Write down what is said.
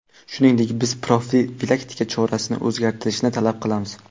Shuningdek, biz profilaktika chorasini o‘zgartirishni talab qilamiz.